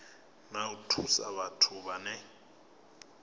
na u thusa vhathu vhane